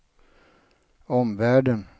omvärlden